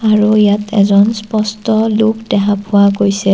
আৰু ইয়াত এজন স্পষ্ট লোক দেখা পোৱা গৈছে।